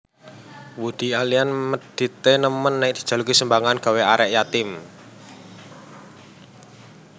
Woody Allen medit e nemen nek dijaluki sumbangan gawe arek yatim